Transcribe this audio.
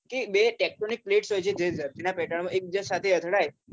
કે બે plates હોય છે જે ધરતીનાં પેટાળમાં એક બીજા સાથે અથડાય